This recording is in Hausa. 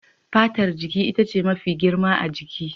Fatar jiki ita ce mafi girma ga jiki.